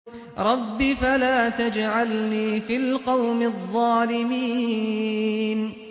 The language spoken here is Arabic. رَبِّ فَلَا تَجْعَلْنِي فِي الْقَوْمِ الظَّالِمِينَ